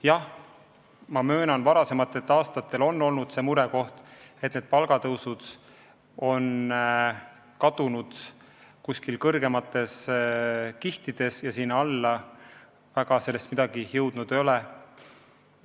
Jah, ma möönan, et varasematel aastal on olnud see murekoht, et palgatõusude mõju on kadunud kuskile kõrgematesse kihtidesse ja sinna alla sellest suurt midagi jõudnud ei ole.